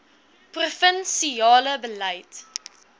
provin siale beleid